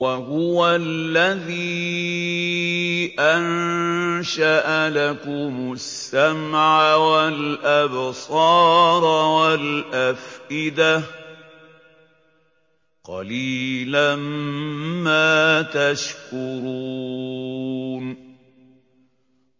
وَهُوَ الَّذِي أَنشَأَ لَكُمُ السَّمْعَ وَالْأَبْصَارَ وَالْأَفْئِدَةَ ۚ قَلِيلًا مَّا تَشْكُرُونَ